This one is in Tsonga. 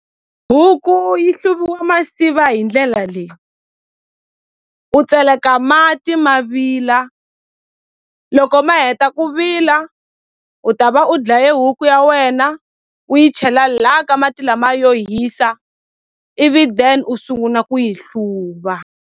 Huku yi hluviwa masiva hi ndlela leyi u tseleka mati ma vila loko ma heta ku vila u ta va u dlaye huku ya wena u yi chela la ka mati lama yo hisa ivi then u sunguna ku yi hluva.